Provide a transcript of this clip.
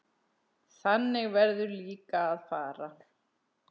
Þannig verður líka að fara.